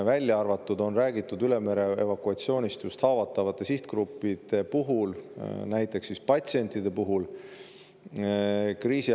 Välja arvatud see, et on räägitud haavatavate sihtgruppide, näiteks patsientide üle mere evakueerimisest.